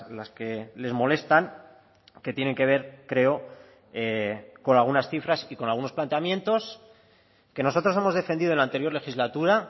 las que les molestan que tienen que ver creo con algunas cifras y con algunos planteamientos que nosotros hemos defendido en la anterior legislatura